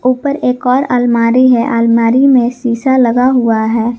ऊपर एक और अलमारी है अलमारी में शीशा लगा हुआ है।